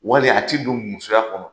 Wali a ti don musoya kɔnɔ.